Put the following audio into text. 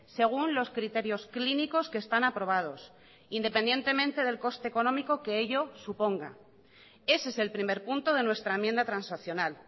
según los criterios clínicos que están aprobados independientemente del coste económico que ello suponga ese es el primer punto de nuestra enmienda transaccional